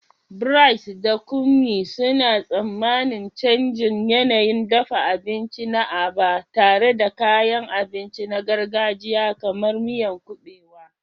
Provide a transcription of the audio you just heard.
Bright da Kunmi suna tsammanin canjin yanayin dafa abinci na Aba, tare da kayan abinci na gargajiya kamar miyan kubewa.